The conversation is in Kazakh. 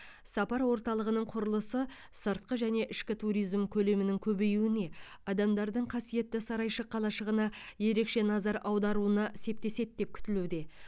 сапар орталығының құрылысы сыртқы және ішкі туризм көлемінің көбеюіне адамдардың қасиетті сарайшық қалашығына ерекше назар аударуына септеседі деп күтілуде